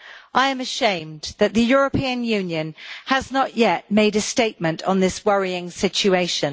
I am ashamed that the European Union has not yet made a statement on this worrying situation.